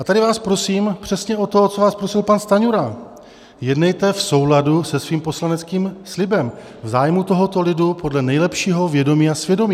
A tady vás prosím přesně o to, o co vás prosil pan Stanjura, jednejte v souladu se svým poslaneckým slibem, v zájmu tohoto lidu, podle nejlepšího vědomí a svědomí.